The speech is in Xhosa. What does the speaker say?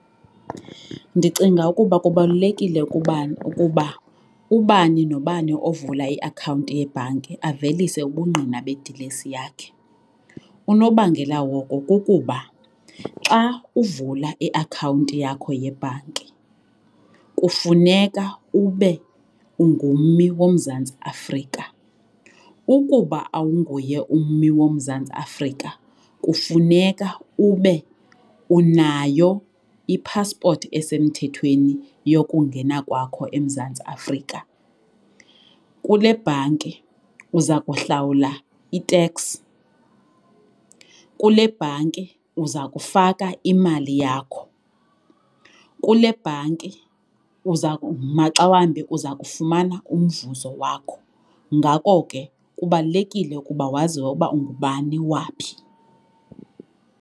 Ndicinga ukuba kubalulekile ukuba ubani nobani ovula iakhawunti yebhanki avelise ubungqina bedilesi yakhe. Unobangela woko kukuba xa uvula iakhawunti yakho yebhanki kufuneka ube ungummi woMzantsi Afrika. Ukuba awunguye ummi woMzantsi Afrika kufuneka ube unayo ipaspoti esemthethweni yokungena kwakho eMzantsi Afrika. Kule bhanki uza kuhlawula i-tax, kule bhanki uza kufaka imali yakho, kule bhanki uza maxa wambi uza kufumana umvuzo wakho. Ngako ke kubalulekile ukuba waziwe ukuba ungubani waphi.